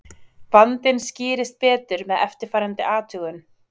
vandinn skýrist betur með eftirfarandi athugun